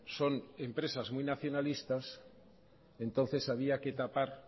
son empresas muy nacionalistas entonces había que tapar